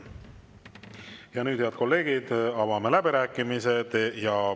Ja nüüd, head kolleegid, avame läbirääkimised.